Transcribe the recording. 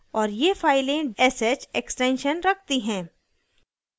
और ये files sh extension रखती हैं